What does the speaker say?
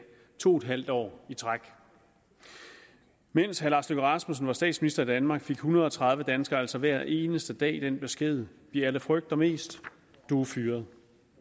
to et halvt år i træk mens herre lars løkke rasmussen var statsminister i danmark fik en hundrede og tredive danskere altså hver eneste dag den besked vi alle frygter mest du er fyret